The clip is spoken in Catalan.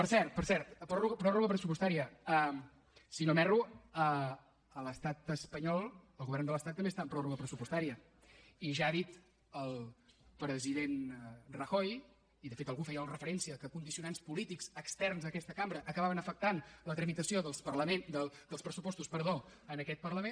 per cert per cert pròrroga pressupostària si no m’erro l’estat espanyol el govern de l’estat també està en pròrroga pressupostària i ja ha dit el president rajoy i de fet algú feia la referència que condicionants polítics externs a aquesta cambra acabaven afectant la tramitació dels pressupostos en aquest parlament